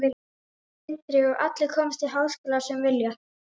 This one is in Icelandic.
Sindri: Og allir komast í háskóla sem vilja?